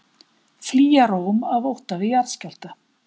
Flýja Róm af ótta við jarðskjálfta